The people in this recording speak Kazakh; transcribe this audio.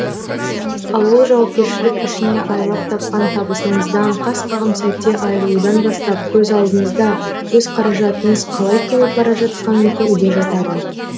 ал ол жауапкершілік ішіне айлап тапқан табысыңыздан қас қағым сәтте айырылудан бастап көз алдыңызда өз қаражатыңыз қалай кеміп бара жатқанын көруде жатады